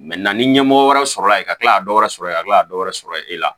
ni ɲɛmɔgɔ wɛrɛ sɔrɔla yen ka kila ka dɔ wɛrɛ sɔrɔ yen ka kila ka dɔ wɛrɛ sɔrɔ e la